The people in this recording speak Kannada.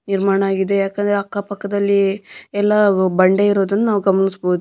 ನಿರ್ಮಾಣವಾಗಿದೆ ಯಾಕೆಂದರೆ ಅಕ್ಕ ಪಕ್ಕದಲ್ಲಿ ಎಲ್ಲಾ ಬಂಡೆ ಇರುವುದನ್ನು ನಾವು ಗಮನಿಸಬಹುದು.